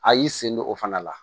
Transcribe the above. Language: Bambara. A y'i sen don o fana la